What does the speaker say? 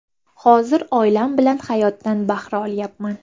Hozir oilam bilan hayotdan bahra olyapman.